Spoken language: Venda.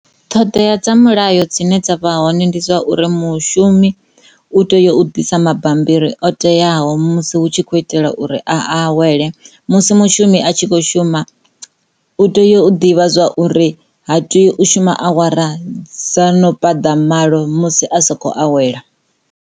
Ṱhoḓea dza mulayo dzine dza vha hone ndi dza uri mushumi u tea u ḓisa mabammbiri o teaho musi hu tshi kho itela uri a awele musi mushumi a tshi kho shuma u tea u ḓivha zwa uri ha tei u shuma awara dza no paḓa malo musi a sa kho awela.